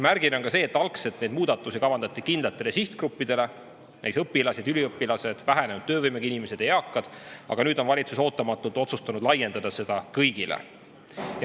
Märgiline on ka see, et algselt kavandati neid muudatusi kindlate sihtgruppide jaoks, näiteks õpilastele, üliõpilastele, vähenenud töövõimega inimestele ja eakatele, aga nüüd on valitsus ootamatult otsustanud laiendada neid kõigile.